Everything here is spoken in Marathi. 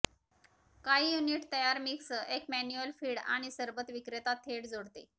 काही युनिट तयार मिक्स एक मॅन्युअल फीड आणि सरबत विक्रेता थेट जोडते